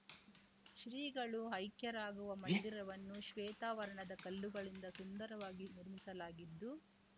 ಶ್ರೀಗಳು ಐಕ್ಯರಾಗುವ ಮಂದಿರವನ್ನು ಶ್ವೇತವರ್ಣದ ಕಲ್ಲುಗಳಿಂದ ಸುಂದರವಾಗಿ ನಿರ್ಮಿಸಲಾಗಿದ್ದು